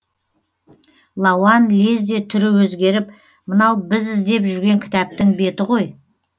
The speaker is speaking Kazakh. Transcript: лауан лезде түрі өзгеріп мынау біз іздеп жүрген кітаптың беті ғой